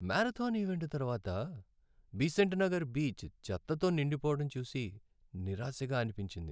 Marathon event తర్వాత Besant Nagar beach చెత్తతో నిండిపోవడం చూసి నిరాశగా అనిపించింది.